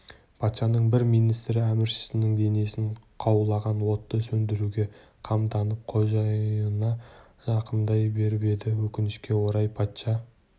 патшаның бір министрі әміршісінің денесін қаулаған отты сөндіруге қамданып қожайынына жақындай беріп еді өкінішке орай патша